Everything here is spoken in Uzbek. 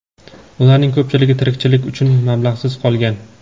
ularning ko‘pchiligi tirikchilik uchun mablag‘siz qolgan.